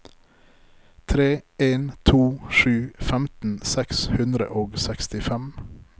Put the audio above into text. tre en to sju femten seks hundre og sekstifem